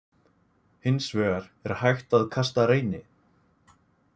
Hins vegar er hægt að kasta Reyni.